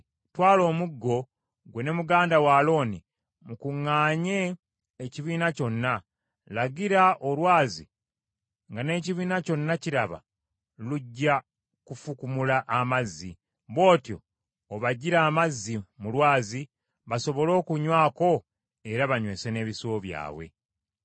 “Twala omuggo, ggwe ne muganda wo Alooni mukuŋŋaanye ekibiina kyonna. Lagira olwazi nga n’ekibiina kyonna kiraba, lujja kufukumula amazzi. Bw’otyo obaggire amazzi mu lwazi, basobole okunywako, era banywese n’ebisibo byabwe.”